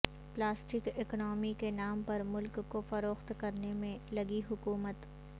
plastic economy کے نام پر ملک کو فروخت کرنے میں لگی حکومت